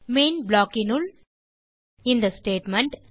main blockனுள் இந்த statement